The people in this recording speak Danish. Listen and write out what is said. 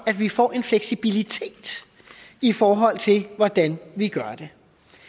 at vi får en fleksibilitet i forhold til hvordan vi gør det